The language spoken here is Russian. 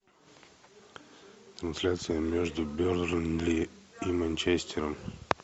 трансляция между бернли и манчестером